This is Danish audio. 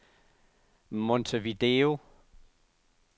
Montevideo